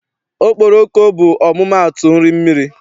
Okporoko bụ ọmụmaatụ nri mmiri.